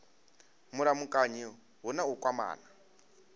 mulamukanyi hu na u kwamana